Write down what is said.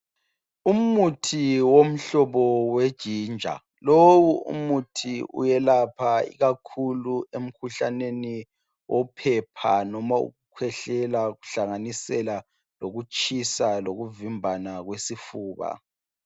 Umuthi yomhlobo weginger. Lowu umuthi uyelapha ikakhulu umkhuhlane wophepha noma owokukhwehlela kuhlanganisele lokutshisa lokuvimbana kwesifuba.